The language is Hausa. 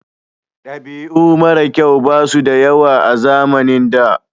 Dabi'u mara kyau basu da yawa a zamanin da